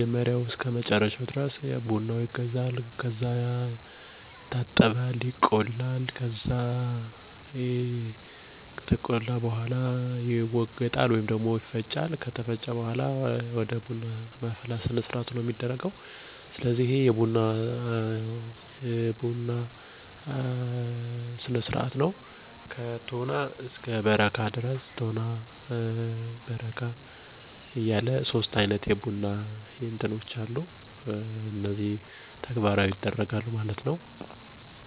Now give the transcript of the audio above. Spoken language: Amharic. ይቆላል፣ ይወቀጣል፣ የቡናው እቃ ሁሉም ይቀረባል፣ ጎረቤት ይጠራል፣ የቡና ቁርስ ይቀረባል ከዛ ቡናው እየተጠጣ ሁሉም አዳዲሲ ወሬዎችን እንዲሁ መልክት አዘል ቀልዶችን እየተቀላለዱ እየተጫዎቱ ቡናውን ይጠጣሉ።